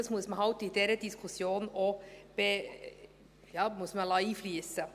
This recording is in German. Dies muss man halt auch in diese Diskussion einfliessen lassen.